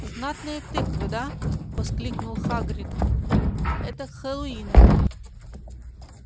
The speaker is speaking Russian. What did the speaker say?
знатные тыквы да воскликнул хагрид это к хэллоуину